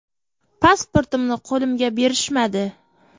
Pasportimni qo‘limga berishmadi.